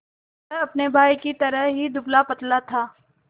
वह अपने भाई ही की तरह दुबलापतला था